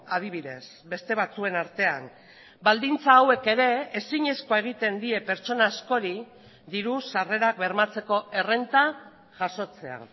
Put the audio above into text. adibidez beste batzuen artean baldintza hauek ere ezinezkoa egiten die pertsona askori diru sarrerak bermatzeko errenta jasotzea